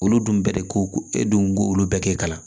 Olu dun bɛɛ de ko ko e dun ko olu bɛɛ tɛ kalan